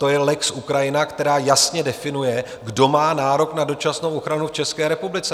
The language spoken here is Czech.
To je lex Ukrajina, který jasně definuje, kdo má nárok na dočasnou ochranu v České republice.